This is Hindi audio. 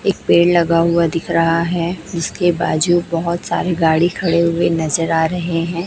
एक पेड़ लगा हुआ दिख रहा है जिसके बाजू बहोत सारे गाड़ी खड़े हुए नजर आ रहे हैं।